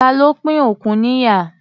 Ta ló pín òkun níyà?